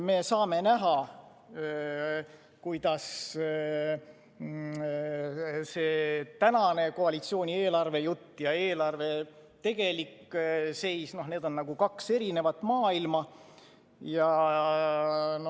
Me saame näha, et tänase koalitsiooni eelarvejutt ja eelarve tegelik seis on nagu kaks eri maailma.